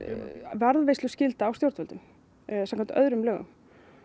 varðveisluskylda á stjórnvöldum samkvæmt öðrum lögum